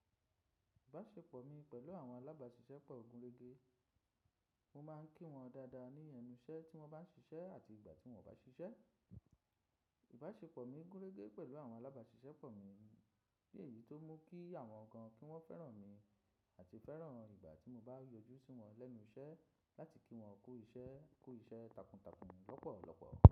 Ìbáṣepọ̀ mi pẹ̀lú àwọn alábáṣiṣẹ́ pọ̀ gun rége. Mo máa ń kí wọn dáadáa ní ẹnu iṣẹ́ tí wọ́n bá ń ṣiṣẹ́ àti ìgbà tí wọ́n ò bá ṣiṣẹ́. Ìbáṣepọ̀ mi gúnrégé pẹ̀lú àwọn alábáṣiṣẹ́ pọ̀ mi, bí èyí tó mú kí àwọn gan kí wọ́n fẹ́ràn mi àti fẹ́ràn ìgbà tí mo bá yọjú sí wọn lẹ́nu iṣẹ́ láti kí wọn ku iṣẹ́ ku iṣẹ́ takuntakun lọ́pọ̀lọ́pọ̀